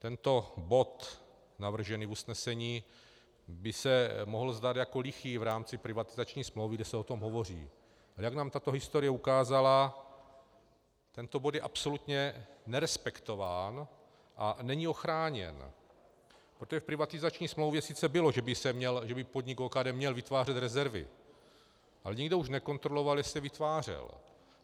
Tento bod navržený v usnesení by se mohl zdát jako lichý v rámci privatizační smlouvy, kde se o tom hovoří, ale jak nám tato historie ukázala, tento bod je absolutně nerespektován a není ochráněn, protože v privatizační smlouvě sice bylo, že by podnik OKD měl vytvářet rezervy, ale nikdo už nekontroloval, jestli je vytvářel.